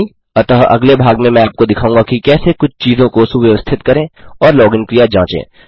अतः अगले भाग में मैं आपको दिखाऊँगा कि कैसे कुछ चीज़ों को सुव्यवस्थित करें और लॉगिन क्रिया जाँचें